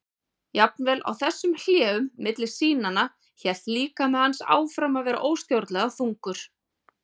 Jafnvel í þessum hléum milli sýnanna hélt líkami hans áfram að vera óstjórnlega þungur.